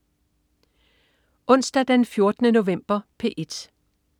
Onsdag den 14. november - P1: